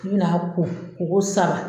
U bina ko, ko ko saba